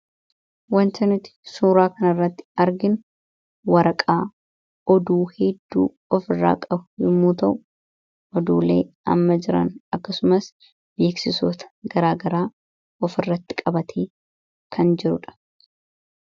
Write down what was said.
Wanta nuti suuraa kan irratti arginu waraqaa oduu hedduu of irraa qabu yommuu ta'u oduulee amma jiran akkasumas beeksisoota garaagaraa of irratti qabate kan jirudha.